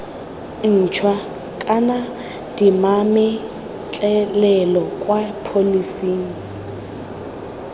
ntšhwa kana dimametlelelo kwa pholising